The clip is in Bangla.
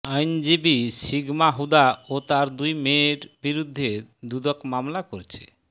আইনজীবী সিগমা হুদা ও তার দুই মেয়ের বিরুদ্ধে দুদক মামলা করেছে